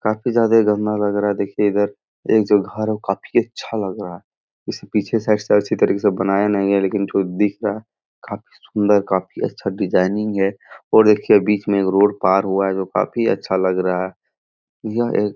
काफी ज्यादा ये गंदा लग रहा है देखिए इधर एक जो घर है वो काफी अच्छा लग रहा है इसे पीछे साइड से अच्छी तरीके से बनाया नही गया है लेकिन जो दिख रहा काफी सुंदर काफी अच्छा डिजाइनिंग है और देखिए बीच में एक रोड पार हुआ है जो काफी अच्छा लग रहा है यह एक --